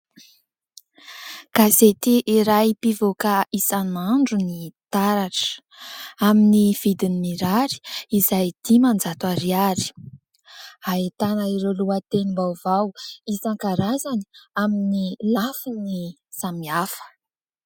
Gazety iray mpivoaka isan'andro ny Taratra amin'ny vidiny mirary izay dimanjato ariary, ahitana ireo lohatenim-baovao isan-karazany amin'ny lafiny samihafa.